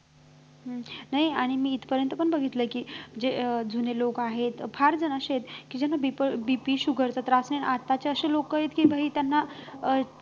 हम्म नाही आणि मी इथपर्यंत पण बघितलंय कि जे अं जुने लोक आहेत फार जण असे आहेत कि ज्यांना BPsugar चा त्रास नाही आताची अशी लोक आहेत कि भाई त्यांना अं